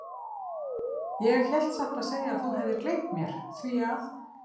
Ég hélt satt að segja að þú hefðir gleymt mér, því að.